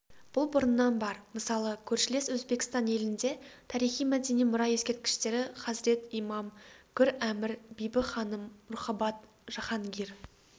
бұл бұрыннан бар мысалы көршілес өзбекстан елінде тарихи-мәдени мұра ескерткіштері хазрет-имам гүр-әмір бибі-ханым рухабад жаһангир